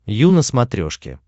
ю на смотрешке